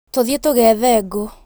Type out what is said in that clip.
Tũthiĩ tũgeethe ngũ